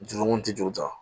Jurumuw ti ju ta